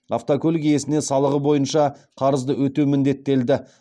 автокөлік иесіне салығы бойынша қарызды өтеу міндеттелді